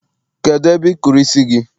Kedụ ebe I kụrụ isi gị?